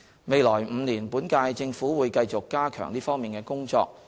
未來5年，本屆政府會繼續加強這方面的工作。